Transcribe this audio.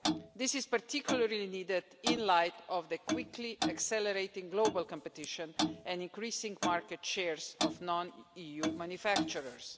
This is particularly needed in light of the quickly accelerating global competition and increasing market share of non EU manufacturers.